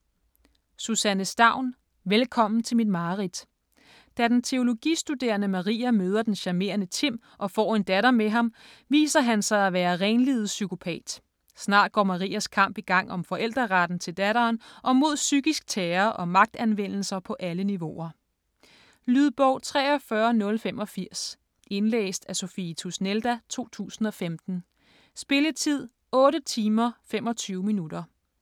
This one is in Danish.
Staun, Susanne: Velkommen til mit mareridt Da den teologistuderende Maria møder den charmerende Timm og får en datter med ham, viser han sig at være renlivet psykopat. Snart går Marias kamp i gang om forældreretten til datteren og mod psykisk terror og magtanvendelser på alle niveauer. Lydbog 43085 Indlæst af Sophie Tusnelda, 2015. Spilletid: 8 timer, 25 minutter.